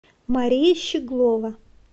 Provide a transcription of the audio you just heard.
мария щеглова